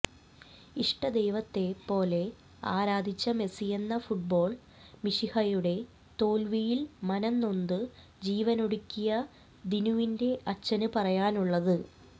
ഇഷ്ടദൈവത്തെ പോലെ ആരാധിച്ച മെസ്സിയെന്ന ഫുട്ബോൾ മിശിഹയുടെ തോൽവിയിൽ മനംനൊന്ത് ജീവനൊടുക്കിയ ദിനുവിന്റെ അച്ഛന് പറയാനുള്ളത്